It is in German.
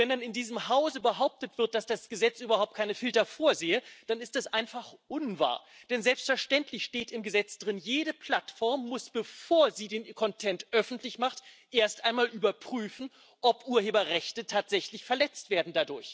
Und wenn in diesem Hause behauptet wird, dass das Gesetz überhaupt keine Filter vorsehe, dann ist das einfach unwahr. Denn selbstverständlich steht im Gesetz Jede Plattform muss, bevor sie den Content öffentlich macht, erst einmal überprüfen, ob dadurch Urheberrechte tatsächlich verletzt werden.